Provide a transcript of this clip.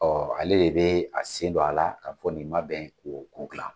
ale de bɛ a sen don a la ka fɔ nin ma bɛn k'o ko dilan.